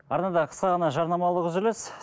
арнада қысқа ғана жарнамалық үзіліс